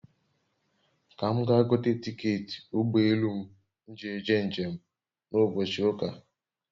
Ka m gaa gote tiketị ụgbọ elù m nji eje njem na ụbọchị ụ́kà